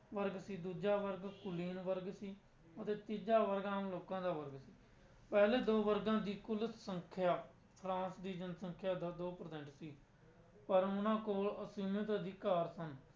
ਵਰਗ ਸੀ ਦੂਜਾ ਵਰਗ ਕੁਲੀਨ ਵਰਗ ਸੀ ਅਤੇ ਤੀਜਾ ਵਰਗ ਆਮ ਲੋਕਾਂ ਦਾ ਵਰਗ ਸੀ, ਪਹਿਲੇ ਦੋ ਵਰਗਾਂ ਦੀ ਕੁੱਲ ਸੰਖਿਆ ਫਰਾਂਸ ਦੀ ਜਨਸੰਖਿਆ ਦਾ ਦੋ percent ਸੀ, ਪਰ ਉਹਨਾਂ ਕੋਲ ਅਸੀਮਿਤ ਅਧਿਕਾਰ ਸਨ।